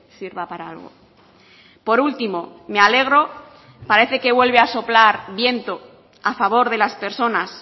sirva para algo por último me alegro parece que vuelve a soplar viento a favor de las personas